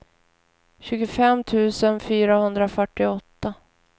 tjugofem tusen fyrahundrafyrtioåtta